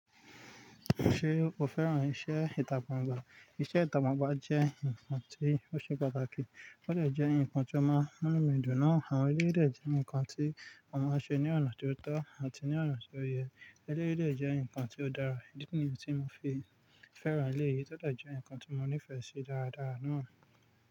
Ṣé o fẹ́ràn iṣẹ́ ìtagbàńgbà? Iṣẹ́ ìtagbàńgbà jẹ́ nǹkan tí ó ṣe pàtàkì, ó jẹ̀ jẹ́ nǹkan tí ó máa ń mú mi dùn ná. Àwọn eré lè jẹ́ nǹkan tí a máa ń ṣe ní ọ̀nà tó tọ́ àti ní ọ̀nà tó yẹ. E lè de jẹ́ nǹkan tí ó dára nìkan tí mo fi fẹ́ràn elé yìí, ó dẹ̀ jẹ́ nǹkan tí mo nífẹ̀ẹ́ sí dáradára ná.